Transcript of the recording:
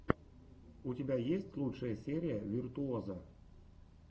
у тебя есть лучшая серия виртуозо